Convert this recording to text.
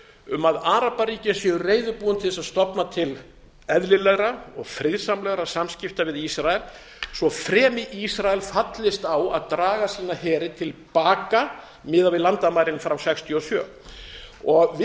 um að arabaríkin séu reiðubúin til þess að stofna til eðlilegra og friðsamlegra samskipta við ísrael svo fremi ísrael fallist á að draga sína heri til baka miðað við landamærin frá nítján hundruð sextíu og sjö við þetta